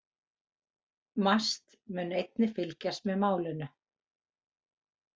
MAST mun einnig fylgjast með málinu